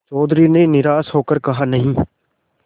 चौधरी ने निराश हो कर कहानहीं